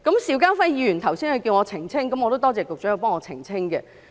邵家輝議員剛才要求我澄清，我也感謝局長代我作出澄清。